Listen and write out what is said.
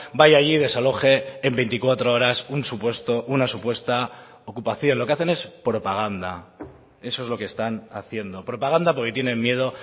vaya allí y desaloje en veinticuatro horas un supuesto una supuesta ocupación lo que hacen es propaganda eso es lo que están haciendo propaganda porque tienen miedo